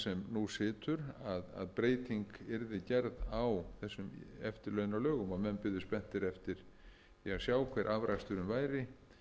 nú situr að breyting yrði gerð á þessum eftirlaunalögum og menn biðu spenntir eftir því að sjá hver afraksturinn væri